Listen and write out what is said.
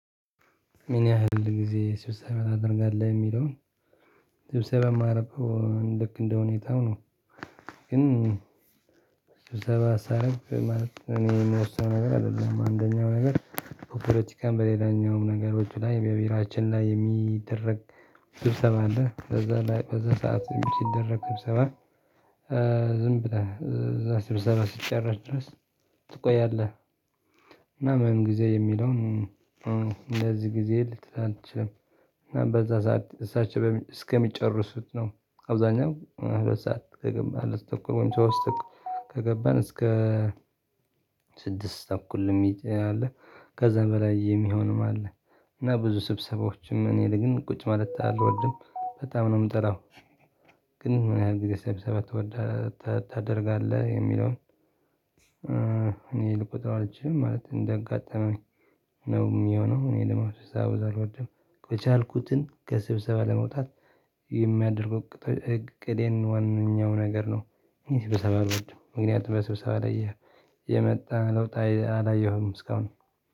ምን ያህል ጊዜ ስብሰባ ታደርጋለህ የሚለውን? ስብሰባ የማረገው ልክ እንደሁኔታው ነው። ግን ስብሰባ ሳደርግ ማለት እኔ የምወስነ .ው ነገር አይደለም አንደኛው ነገር በፖለቲካም በሌላኛውም ነገሮች ላይ በቢሮአችን ላይ የሚደረግ ስብሰባ አለ ከዛ ላይ በዛ ሰዓት ሲደረግ ሰብሰባ ዝም ብለን እዛ ስብሰባ ስትጨርስ ድረስ ትቆያለህ። እና ምን ጊዜ የሚለውን እንደዚህ ጊዜ ልትል አትችልም። እና በዛ ሰዓት እሳቸው እስከሚጨርሱት ነው። አብዛኛው ሶስት ሰዓት ከገባህ ሶስት ተኩል ወይም ሶስት ከገባን እስከ ስድስት ተኩል የሚቆይ አለ። ከዛ በላይ የሚሆንም አለ። እና ብዙ ስብሰባዎችም እኔ ግን ቁጭ ማለት አልወድም በጣም ነው የምጠላው። ግን ምን ያህል ጊዜ ሰብሰባ ትውዳ ታ ታደርጋለህ የሚለውን? እኔ ልቆጥር አልችልም ማለት እንደ አጋጠመኝ ነው። የሚሆነው እኔ ደግሞ ስብሰባ ሲበዛ አልውድ ም የቻልኩትን ከስብሰባ ለመውጣት የሚያደርጉ እቅዴን ዋነኛው ነገር ነው። ስብሰባው ምክንያቱም በስብሰባ ላይ የመጣ ለውጥ አይአላየሁም እስካሁን